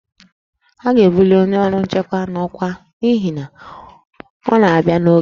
A ga-ebuli onye ọrụ nchekwa n'ọkwa n'ihi na ọ na-abịa n'oge